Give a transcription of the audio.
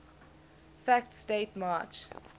facts date march